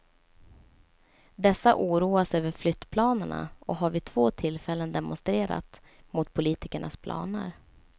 Dessa oroas över flyttplanerna och har vid två tillfällen demonstrerat mot politikernas planer.